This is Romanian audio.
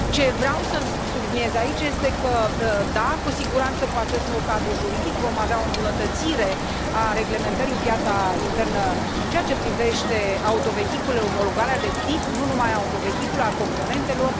Ce vreau să subliniez aici este că, da, cu siguranță, cu acest nou cadru juridic vom avea o îmbunătățire a reglementării în piața internă în ceea ce privește autovehiculele, omologarea de tip, nu numai a autovehiculelor, a componentelor.